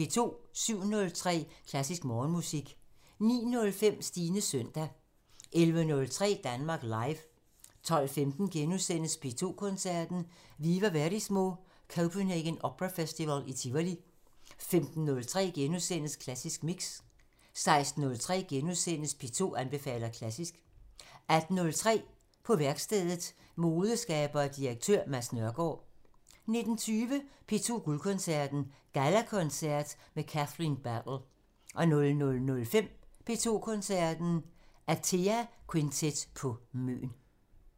07:03: Klassisk Morgenmusik 09:05: Stines søndag 11:03: Danmark Live 12:15: P2 Koncerten – Viva Verismo – Copenhagen Opera Festival i Tivoli * 15:03: Klassisk Mix * 16:03: P2 anbefaler klassisk * 18:03: På værkstedet – Modeskaber og direktør Mads Nørgaard 19:20: P2 Guldkoncerten – Gallakoncert med Kathleen Battle 00:05: P2 Koncerten – Atea Quintet på Møn